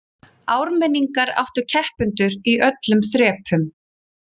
Ármenningar áttu keppendur í öllum þrepum